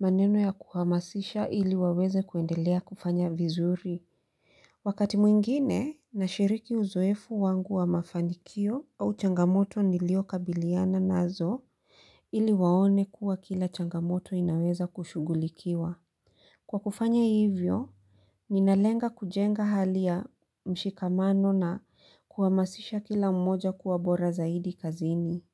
maneno ya kuhamasisha ili waweze kuendelea kufanya vizuri. Wakati mwingine, na shiriki uzoefu wangu wa mafanikio au changamoto nilio kabiliana nazo, ili waone kuwa kila changamoto inaweza kushugulikiwa. Kwa kufanya hivyo, ninalenga kujenga hali ya mshikamano na kuamasisha kila mmoja kuwabora zaidi kazini.